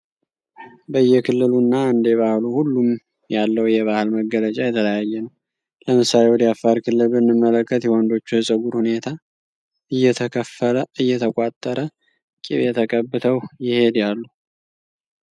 በየክልሉ እና እንደባህሉ ሁሉም ያለው የባህል መገለጫ የተለያየ ነው። ለምሳሌ ወደ አፋር ክልል ብንመለከት የወንዶቹ የጸጉር ሁኔታ እየተከፈለ እየተቋተረ ቂቤ ተቀብተው ይሄዳሉ።